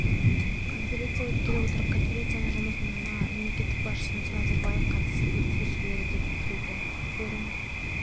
конференция өткелі отыр конференция жұмысына мемлекет басшысы нұрсұлтан назарбаев қатысып сөз сөйлейді деп күтілуде форум